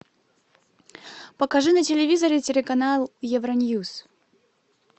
покажи на телевизоре телеканал евроньюс